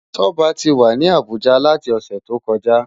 Toba ti wá ni Abuja láti òsè tókòjá